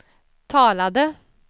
talade